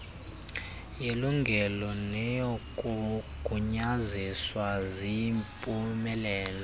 yelungelo neyokugunyaziswa ziyimpumelelo